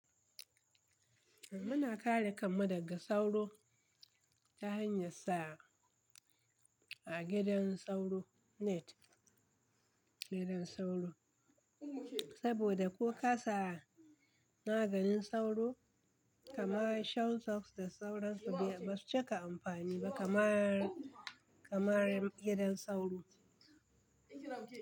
Muna kare kama daga sauro ta hanyar sa a gidan sauro net, gidan sauro. Saboda ko ka sa maganin sauro kamar shelltus da sauransu ba su cika amfani ba kamar, kamar gidan sauro.